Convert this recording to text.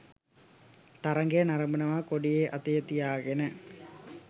තරඟය නරඹනවා කොඩිය අතේ තියාගෙන.